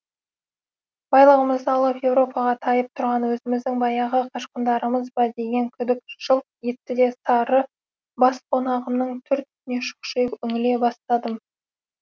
байлығымызды алып еуропаға тайып тұрған өзіміздің баяғы қашқындарымыз ба деген күдік жылт етті де сары бас қонағымның түр түсіне шұқшиып үңіле бастадым